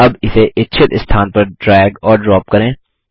अब इसे इच्छित स्थान पर ड्रैग और ड्राप करें